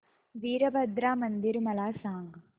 वीरभद्रा मंदिर मला सांग